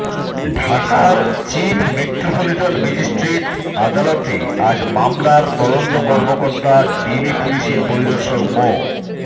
ঢাকার chief metropolitan magistrate আদালতে আজ মামলার তদন্ত কর্মকর্তা ডিবি পুলিশের পরিদর্শক মো